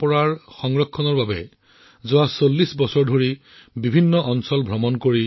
ইয়াৰ বাবে তেওঁ তামিলনাডুৰ বিভিন্ন প্ৰান্ত ভ্ৰমণ কৰি লোকশিল্প ৰূপে আৱিষ্কাৰ কৰে আৰু সেইবোৰক তেওঁৰ গ্ৰন্থৰ অংশ হিচাপে প্ৰকাশ কৰে